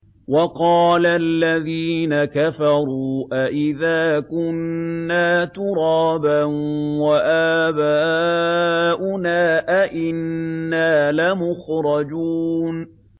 وَقَالَ الَّذِينَ كَفَرُوا أَإِذَا كُنَّا تُرَابًا وَآبَاؤُنَا أَئِنَّا لَمُخْرَجُونَ